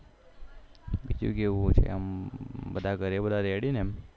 એવું છે એમ બધા ઘરે બધા ready ને એમ